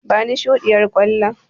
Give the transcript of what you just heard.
Bani shuɗiyar ƙwallon.